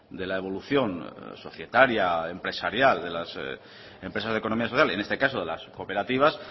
de la evolución societaria empresarial de las empresas de economía social en este caso de las cooperativas